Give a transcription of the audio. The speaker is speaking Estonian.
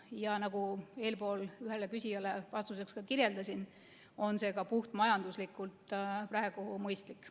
Ja nagu eespool ühele küsijale vastates kirjeldasin, on see ka puhtmajanduslikult praegu mõistlik.